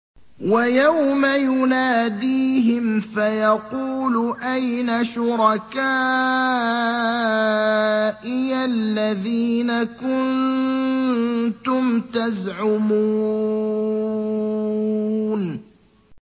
وَيَوْمَ يُنَادِيهِمْ فَيَقُولُ أَيْنَ شُرَكَائِيَ الَّذِينَ كُنتُمْ تَزْعُمُونَ